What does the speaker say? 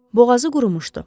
Boğazı qurumuşdu.